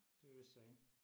det vidste jeg ikke